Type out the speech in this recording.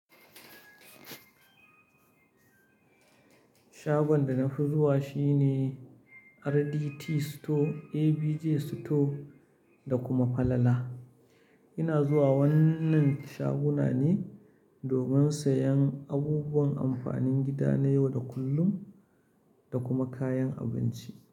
Shagon da na fi zuwa shine RDT Store, ABJ Store da kuma Falala. Ina zuwa wannan shaguna ne domin sayan abubuwan amfanin gida na yau da kullum da kuma kayan abinci.